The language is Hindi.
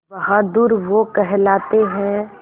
बहादुर वो कहलाते हैं